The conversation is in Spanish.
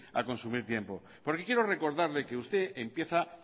a consumir tiempo porque quiero recordarle que usted empieza